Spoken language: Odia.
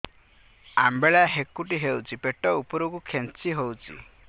ଅମ୍ବିଳା ହେକୁଟୀ ହେଉଛି ପେଟ ଉପରକୁ ଖେଞ୍ଚି ହଉଚି